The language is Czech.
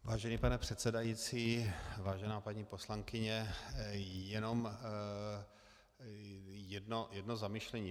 Vážený pane předsedající, vážená paní poslankyně, jenom jedno zamyšlení.